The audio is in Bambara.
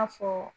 A fɔ